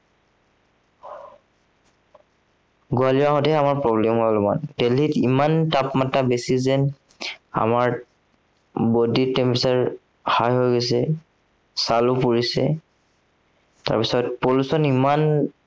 গোৱালে যাওঁতেহে আমাৰ problem হল অলপমান। দিল্লীত ইমান তাপমাত্ৰা বেছি যেন আমাৰ, body tempressure high হৈ গৈছে। ছালো পুৰিছে। তাৰপিছত pollution ইমান